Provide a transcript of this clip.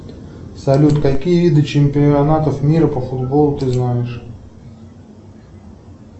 салют какие виды чемпионатов мира по футболу ты знаешь